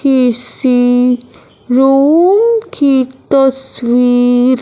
किसी रूम की तस्वीर--